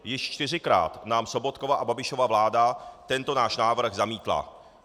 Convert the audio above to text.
Již čtyřikrát nám Sobotkova a Babišova vláda tento náš návrh zamítla.